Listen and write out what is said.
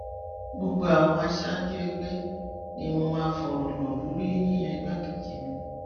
gbogbo àwọn aṣáájú ẹgbẹ ni mo máa fọrọ lọ lórí yíyan igbákejì mi